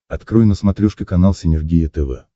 открой на смотрешке канал синергия тв